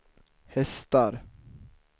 hästar